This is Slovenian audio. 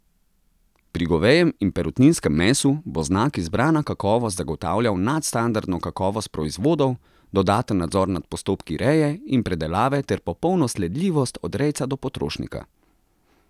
Pri govejem in perutninskem mesu bo znak izbrana kakovost zagotavljal nadstandardno kakovost proizvodov, dodaten nadzor nad postopki reje in predelave ter popolno sledljivost od rejca do potrošnika.